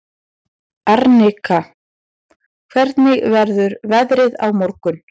Arnika, hvernig verður veðrið á morgun?